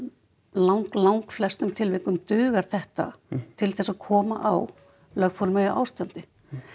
lang langflestum tilvikum dugar þetta til þess að koma á lögformlegu ástandi